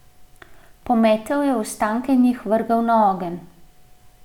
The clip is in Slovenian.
Pometel je ostanke in jih vrgel na ogenj.